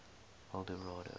eldorado